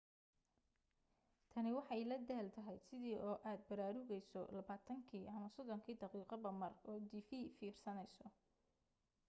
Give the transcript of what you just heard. tani waxay la daal tahay sidii oo aad baraarugayso labaatankii ama soddonkii daqiiqoba mar oo tv fiirsanayso